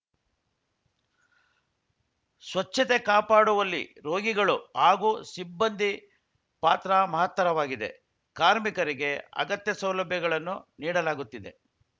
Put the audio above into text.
ಸ್ವಚ್ಚತೆ ಕಾಪಾಡುವಲ್ಲಿ ರೋಗಿಗಳು ಹಾಗೂ ಸಿಬ್ಬಂದಿ ಪಾತ್ರ ಮಹತ್ತರವಾಗಿದೆ ಕಾರ್ಮಿಕರಿಗೆ ಅಗತ್ಯ ಸೌಲಭ್ಯಗಳನ್ನು ನೀಡಲಾಗುತ್ತಿದೆ